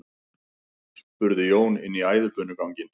spurði Jón inn í æðibunuganginn.